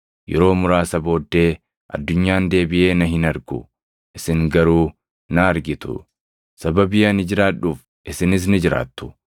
Yeroo muraasa booddee addunyaan deebiʼee na hin argu; isin garuu na argitu. Sababii ani jiraadhuuf isinis ni jiraattu.